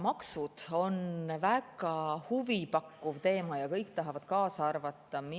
Maksud on väga huvipakkuv teema ja kõik tahavad kaasa.